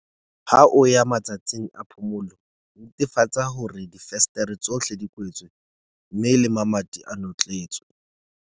Ha o ya matsatsing a phomolo, netefatsa hore difenstere tsohle di kwetswe mme le mamati a notletswe.